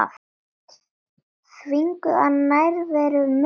Þvinguð af nærveru Mörtu.